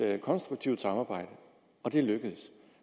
konstruktivt samarbejde og det er lykkedes